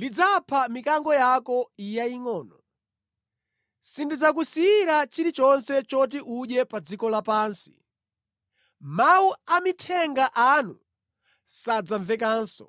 lidzapha mikango yako yayingʼono; sindidzakusiyira chilichonse choti udye pa dziko lapansi. Mawu a amithenga anu sadzamvekanso.”